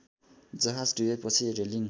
जहाज डुबेपछि रेलिङ